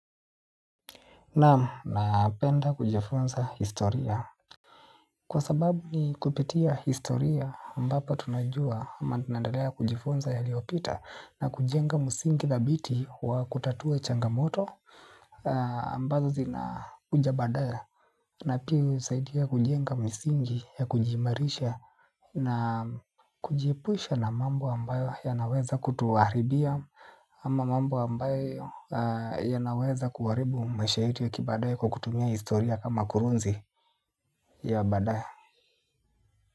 Naam napenda kujifunza historia. Kwa sababu ni kupitia historia ambapo tunajua ama tunandalea kujifunza ya liopita na kujenga msingi thabiti wa kutatua changamoto ambazo zina kuja badaaye. Na pia hii unisaidia kujenga misingi ya kujiimarisha na kujiepusha na mambo ambayo ya naweza kutuharibia. Ama mambo ambayo ya naweza kuharibu maisha yetu ya kibaadaye kwa kutumia historia kama kurunzi ya badaaye.